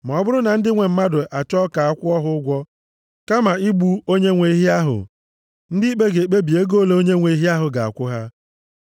Ma ọ bụrụ na ndị nwe mmadụ achọọ ka a kwụọ ha ụgwọ kama igbu onyenwe ehi ahụ, ndị ikpe ga-ekpebi ego ole onyenwe ehi ga-akwụ ha.